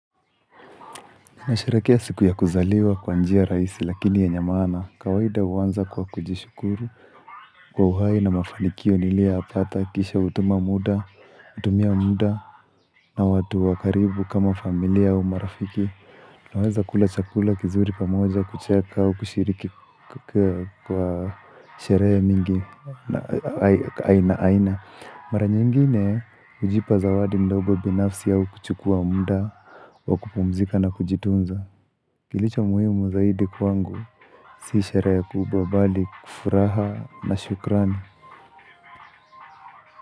Nasherekea siku ya kuzaliwa kwa njia raisi lakini yenye maana. Kawaida huanza kwa kujishukuru kwa uhai na mafanikio niliyoyapata kisha hutuma muda, hutumia muda na watu wa karibu kama familia au marafiki. Naweza kula chakula kizuri pamoja kucheka kushiriki kwa sheree mingi na aina aina. Mara nyingine ujipa zawadi mdogo binafsi au kuchukua mda wa kupumzika na kujitunza Kilicho muhimu zaidi kwangu, si sherehe kubwa bali kufuraha na shukrani.